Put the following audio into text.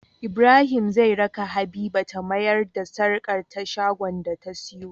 Ibrahim zai raka habiba ta mayar da sarƙar ta shagon da ta siyo